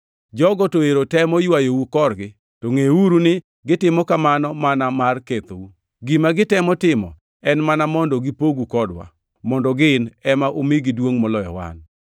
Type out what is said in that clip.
Jogo to ero temo ywayou korgi, to ngʼeuru ni gitimo kamano mana mar kethou. Gima gitemo timo en mana mondo gipogu kodwa, mondo gin ema umigi duongʼ moloyo wan.